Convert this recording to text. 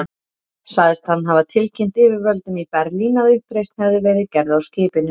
Sagðist hann hafa tilkynnt yfirvöldum í Berlín, að uppreisn hefði verið gerð á skipinu.